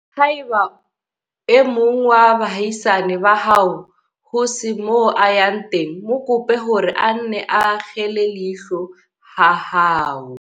Haeba e mong wa baahisane ba hao ho se moo a yang teng, mo kope hore a nne a akgele leihlo ha hao.